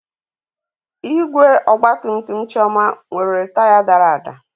Igwe ọgba tum tum Chioma nwere taya dara ada.